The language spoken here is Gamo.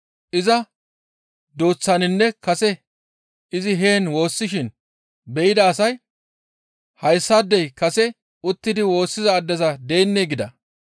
Iza dooththatinne kase izi heen woossishin be7ida asay, «Hayssaadey kase uttidi woossiza addeza deennee?» gida.